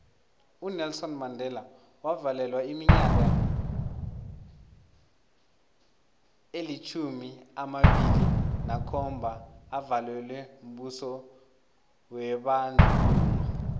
unelson mandela wavalelwa iminyaka elitjhumi amabili nakhomba avalelwa mbuso webandlululo